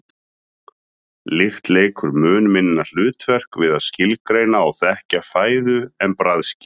lykt leikur mun minna hlutverk við að skilgreina og þekkja fæðu en bragðskyn